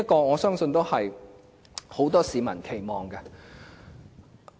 我相信這是很多市民的期望。